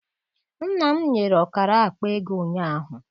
Nna m nyere ọkara akpa ego ụnyaahụ.